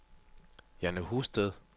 Jane Husted